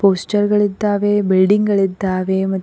posture ಗಳಿದ್ದಾವೆ building ಗಳಿದ್ದಾವೆ ಮ--